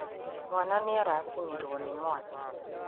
Mwana nĩ araciniwo nĩ mwaki